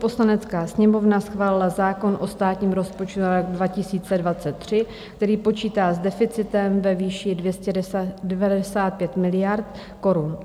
Poslanecká sněmovna schválila zákon o státním rozpočtu na rok 2023, který počítá s deficitem ve výši 295 miliard korun.